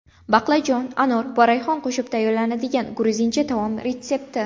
Baqlajon, anor va rayhon qo‘shib tayyorlanadigan gruzincha taom retsepti.